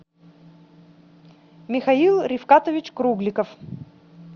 михаил рифкатович кругликов